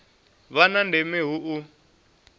vha na ndeme hu u